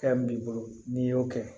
Fɛn min b'i bolo n'i y'o kɛ